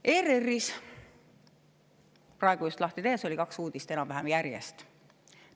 ERR‑i just praegu lahti tehes nägin seal kahte uudist enam-vähem järjest.